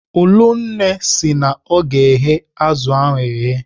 Ụlụnne sị na ọ ga-eghe azụ ahụ eghe.